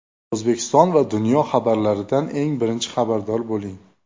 O‘zbekiston va dunyo xabarlaridan eng birinchi xabardor bo‘ling.